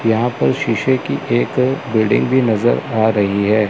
यहां पर शीशे की एक बिल्डिंग भी नजर आ रही है।